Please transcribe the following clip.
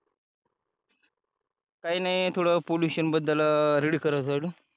काही नाही थोडं पॉल्युशन बद्दल रीड करत होतो